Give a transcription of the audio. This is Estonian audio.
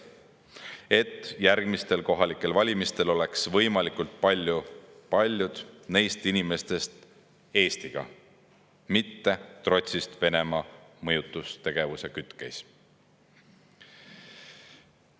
Siis oleksid järgmistel kohalikel valimistel võimalikult paljud neist inimestest Eestiga, mitte trotsist Venemaa mõjutustegevuse kütkes.